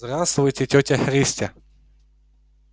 здравствуйте тётя христя